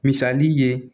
Misali ye